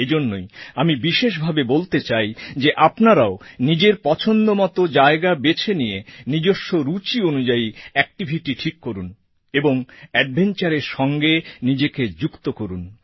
এজন্যই আমি বিশেষভাবে বলতে চাই যে আপনারাও নিজের পছন্দমতো জায়গা বেছে নিয়ে নিজস্ব রুচি অনুযায়ী অ্যাকটিভিটি ঠিক করুন এবং অ্যাডভেঞ্চারের সঙ্গে নিজেকে যুক্ত করুন